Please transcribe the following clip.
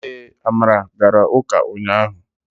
ee, amara gara uka unyahu